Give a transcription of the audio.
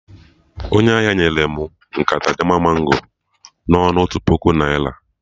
Onye ahịa nyere mụ nkata Jaman mango na ọnụ otu puku naira